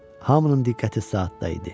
Hamının diqqəti saatda idi.